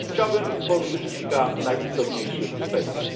Chciałbym poruszyć kilka najistotniejszych kwestii.